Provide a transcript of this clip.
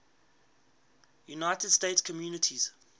united states communities